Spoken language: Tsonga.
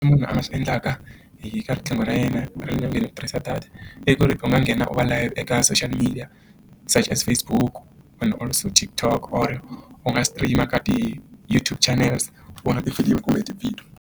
Munhu a nga swi endlaka hi ka riqingho ra yena ra le nyongeni u tirhisa data i ku ri u nga nghena u va layite eka social media charges Facebook vanhu all so TikTok u va u ri u nga stream ka ti YouTube channel se vona tifilimi kumbe tivhidiyo.